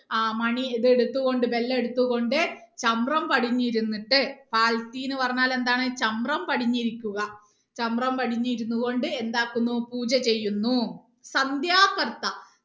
ആ മണി ഇത് എടുത്ത് കൊണ്ട് bell എടുത്ത് കൊണ്ട് ചമ്പ്രം പടിഞ്ഞ് ഇരുന്നിട്ട് എന്ന് പറഞ്ഞാൽ എന്താണ് ചമ്പ്രം പടിഞ്ഞ് ഇരിക്കുക ചമ്പ്രം പടിഞ്ഞ് ഇരുന്ന് കൊണ്ട് എന്താകുന്നു പൂജ ചെയ്യുന്നു